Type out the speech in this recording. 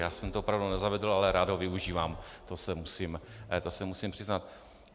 Já jsem to opravdu nezavedl, ale rád ho využívám, to se musím přiznat.